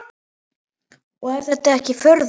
Og er það ekki furða.